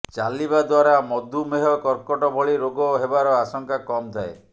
ଚାଲିବା ଦ୍ବାରା ମଧୁମେହ କର୍କଟ ଭଳି ରୋଗ ହେବାର ଆଶଙ୍କା କମ୍ ଥାଏ